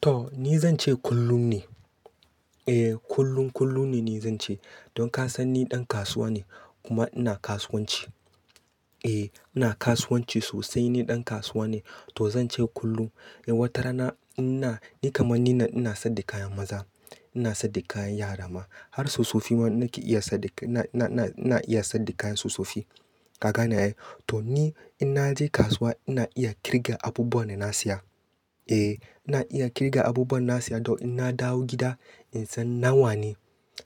To! Ni zan ce kullum ne, eh kullum kullum ne ni zan ce. Don ka san ni ɗan kasuwa ne kuma ina kasuwanci. Eh ina kasuwanci sosai, ni ɗan kasuwa ne to zan ce kullum. Wata rana ina, ni kaman ni ina sayar da kayan maza, ina sayar da kayan yara ma har tsofaffi ma nake iya sayar da, na, na, na iya sayar da kayan tsofaffi. Ka gane ai? To! Ni in na je kasuwa ina iya ƙirga abubuwan da na saya. Eh ina iya ƙirga abubuwan da na saya to in na dawo gida in san nawa ne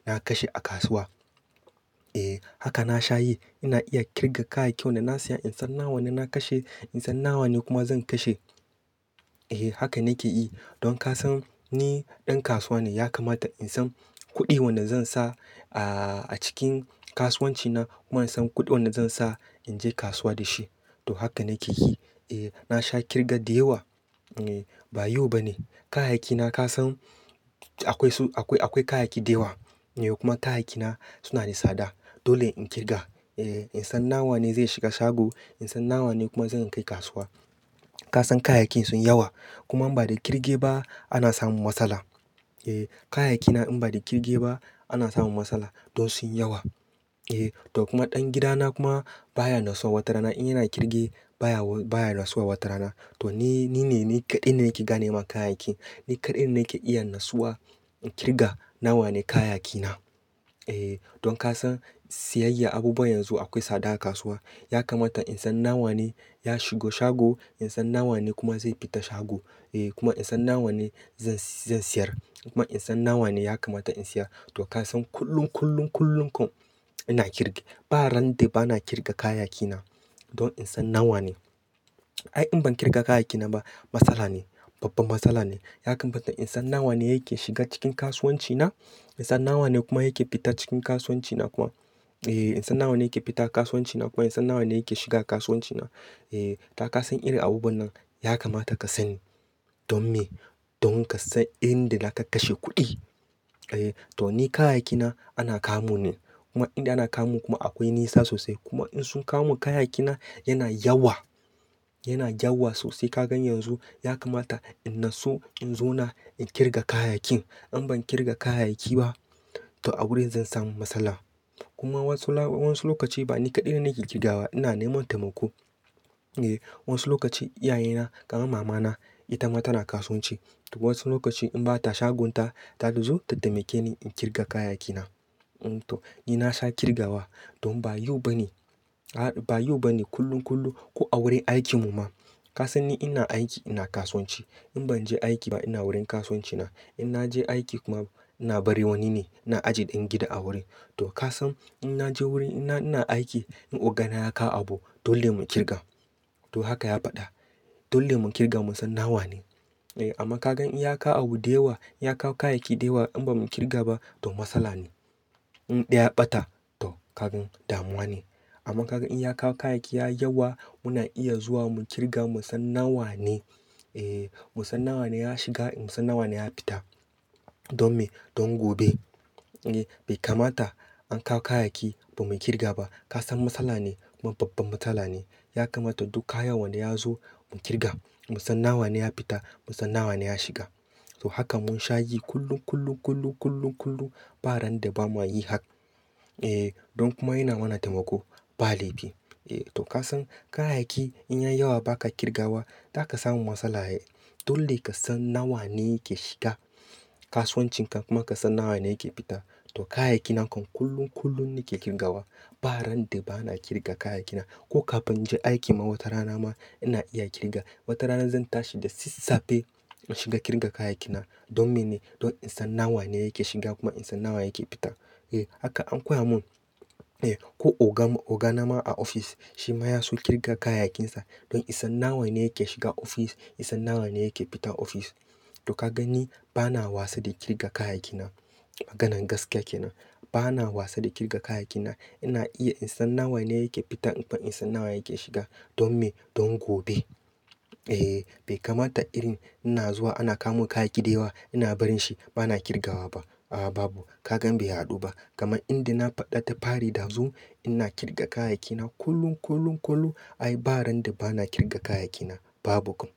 na kashe a kasuwa. Eh haka na sha yi. Ina iya ƙirga kayan kyau da na saya in san nawa ne na kashe, in san nawa ne kuma zan kashe. Eh haka nake yi. Don ka san ni ɗan kasuwa ne ya kamata in san kuɗin wanda zan sa a cikin kasuwanci na kuma in san kuɗin wanda zan sa in je kasuwa da shi. To! Haka nake yi. Eh na sha ƙirga da yawa. Eh ba yau ba ne kayayyaki na ka san akwai su, akwai, akwai kayayyaki da yawa. Eh kuma kayayyaki na su na da tsada dole in ƙirga. Eh in san nawa ne zai shiga shago, in san nawa ne kuma zan kai kasuwa. Ka san kayayyaki sun yawa kuma in ba da ƙirge ba ana samun matsala. Eh kayayyaki na in ba da ƙirge ba ana samun matsala don sun yawa. Eh to! Kuma ɗan gida na kuma baya nasuwa wata rana in yana ƙirge baya, baya nasuwa wata rana. To! Ni, ni ne, ni kaɗai ne nake ganema kayayyaki. Ni kaɗai nake iya nasuwa in ƙirga nawa ne kayayyaki na. Eh don ka san siyayya abubuwa yanzu akwai tsada a kasuwa. Ya kamata in san nawa ne ya shigo shago, in san nawa ne kuma zai fita shago. Eh kuma in san nawa ne zan, zan sayar. Kuma in san nawa ne ya kamata in saya. To! Ka san kullum, kullum, kullum kuma ina ƙirge. Ba ran da ba na ƙirga kayayyaki na don in san nawa ne. Ai in ban ƙirga kayayyaki na ba matsala ne, babban matsala ne. Ya kamata in san nawa ne yake shiga cikin kasuwanci na, in san nawa ne kuma yake fita cikin kasuwanci na kuma. Eh in san nawa ne yake fita kasuwanci na kuma in san nawa ne yake shiga kasuwanci na. Eh to ka san irin abubuwan nan ya kamata ka sani. Don me? Don ka san inda za ka kashe kuɗi. Eh to! Ni kayayyaki na ana kamu ne kuma inda ana kamu kuma akwai nisa sosai. Kuma in sun kamu kayayyaki na yana yawa yana yawa sosai ka gan yanzu ya kamata in naso in zo na ƙirga kayayyakin. In ban ƙirga kayayyaki ba to a wurin zan samu matsala. Kuma wasu, wasu lokaci ba ni kaɗai nake ƙirgawa, ina neman taimako. Eh wasu lokaci iyaye na kaman mama na ita ma tana kasuwanci. To! Wasu lokaci in bata shagonta ta zo ta taimake ni in ƙirga kayayyaki na. To! Ni na sha ƙirgawa. Don ba yau ba ne, ba yau ba ne kullum, kullum ko a wurin aikin mu ma. Ka san ni ina aiki ina kasuwanci. In ban je aiki ba ina wurin kasuwanci na. In na je aiki kuma ina barin wani ne, ina ajiye ɗan gida a wurin. To! Ka san in na je wurin ina, ina aiki in ogana ya kawo abu dole mu ƙirga. To! Haka ya faɗa. Dole mu ƙirga mu san nawa ne. Eh amma ka gan in ya kawo abu da yawa, ya kawo kayayyaki da yawa in ba mu ƙirga ba to matsala ne. In ɗaya ɓata to ka gan damuwa ne. Amma ka gan in ya kawo kayayyaki ya yawa muna iya zuwa mu ƙirga mu san nawa ne. Eh mu san nawa ne ya shiga, mu san nawa ne ya fita. Don me? Don gobe. Eh bai kamata an kawo kayayyaki ba mu ƙirga ba. Ka san matsala ne kuma babban matsala ne. Ya kamata duk kaya wanda ya zo mu ƙirga. Mu san nawa ne ya fita, mu san nawa ne ya shiga. To! Haka mun sha yi kullum, kullum, kullum, kullum, kullum ba ran da ba muyi haku. Eh don kuma yana mana taimako, ba laifi. Eh to ka san kayayyaki in ya yawa ba ka ƙirgawa za ka samu matsala. Dole ka san nawa ne yake shiga kasuwancin ka kuma ka san nawa ne yake fita. To! Kayayyaki na kuma kullum, kullum nake ƙirgawa. Ba ran da ba na ƙirga kayayyaki na. Ko ka fin in je aiki ma wata rana ma ina iya ƙirga. Wata rana zan tashi da sassafe in shiga ƙirga kayayyaki na. Don mene? Don in san nawa ne yake shiga kuma in san nawa yake fita. Eh haka an koya mun. Eh ko oga, ogana ma a ofis shi ma ya so ƙirga kayayyakin sa don ya san nawa ne yake shiga ofis, ya san nawa ne yake fita ofis. To ka gan ni ba na wasa da ƙirga kayayyaki na. Maganan gaskiya kenan. Ba na wasa da ƙirga kayayyaki na. Ina iya in san nawa ne yake fita kuma in san nawa yake shiga. Don me? Don gobe. Eh bai kamata irin ina zuwa ana kawomin kayayyaki da yawa ina barin shi ba na ƙirgawa ba. A'a babu, ka gan bai haɗu ba. Kaman inda na faɗa ta fari dazu ina ƙirga kayayyaki na kullum, kullum, kullum. Ai ba ran da ba na ƙirga kayayyaki na babu.